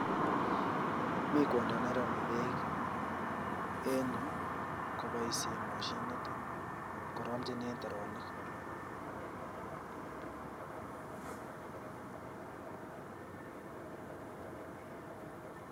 Mi kwondoo neromee beek, en yu koboishien moshinit, koromchinen teroniik